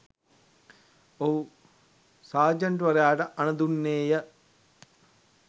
ඔහු සාජන්ට්වරයාට අණ දුන්නේ ය.